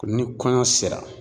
Ni kɔɲɔ sera.